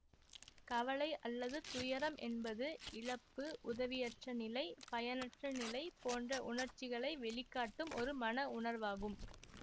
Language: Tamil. கவலை அல்லது துயரம் என்பது இழப்பு உதவியற்ற நிலை பயனற்ற நிலை போன்ற உணர்ச்சிகளை வெளிக்காட்டும் ஒரு மன உணர்வாகும்